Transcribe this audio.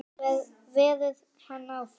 Verður hann áfram?